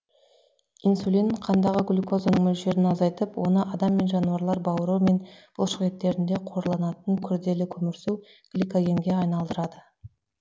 инсулин қандағы глюкозаның мөлшерін азайтып оны адам мен жануарлар бауыры мен бұлшықеттерінде қорланатын күрделі көмірсу гликогенге айналдырады